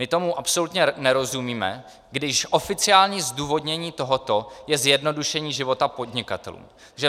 My tomu absolutně nerozumíme, když oficiální zdůvodnění toho je zjednodušení života podnikatelů.